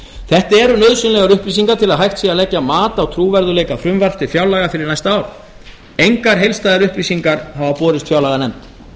þetta eru nauðsynlegar upplýsingar til að hægt sé að leggja mat á trúverðugleika frumvarps til fjárlaga fyrir næsta ár engar heildstæðar upplýsingar hafa borist fjárlaganefnd